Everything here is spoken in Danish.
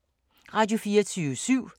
Radio24syv